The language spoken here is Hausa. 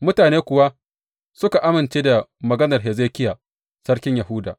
Mutane kuwa suka amince da maganar Hezekiya, Sarkin Yahuda.